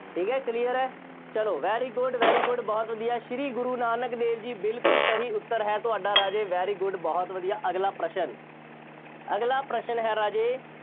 ਠੀਕ ਹੈ, clear ਹੈ। ਚੱਲੋ very good, very good ਬਹੁਤ ਵਧੀਆ, ਸ਼੍ਰੀ ਗੁਰੂ ਨਾਨਕ ਦੇਵ ਜੀ ਬਿਲਕੁੱਲ ਸਹੀ ਉੱਤਰ ਹੈ ਤੁਹਾਡਾ ਰਾਜੇ very good ਬਹੁਤ ਵਧੀਆ, ਅਗਲਾ ਪ੍ਰਸ਼ਨ ਅਗਲਾ ਪ੍ਰਸ਼ਨ ਹੈ ਰਾਜੇ